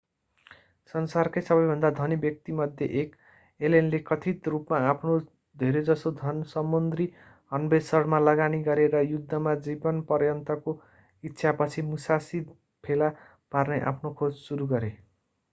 संसारकै सबैभन्दा धनी व्यक्तिमध्ये एक एलेनले कथित रूपमा आफ्नो धेरैजसो धन समुद्री अन्वेषणमा लगानी गरे र युद्धमा जीवनपर्यन्तको इच्छापछि मुसासी फेला पार्ने आफ्नो खोज सुरु गरे